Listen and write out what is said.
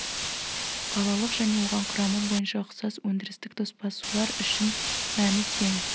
қалалық және оған құрамы бойынша ұқсас өндірістік тоспа сулар үшін мәні тең